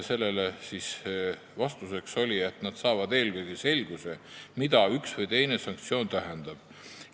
Vastus oli, et nad saavad eelkõige selguse, mida üks või teine sanktsioon tähendab.